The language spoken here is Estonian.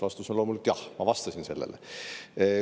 Vastus on loomulikult jah, ma vastasin sellele.